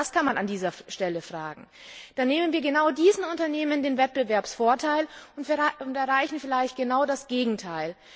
Auch das kann man an dieser Stelle fragen dann nehmen wir genau diesen Unternehmen den Wettbewerbsvorteil und erreichen vielleicht genau das Gegenteil.